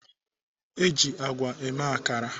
Eji àgwà eme akara.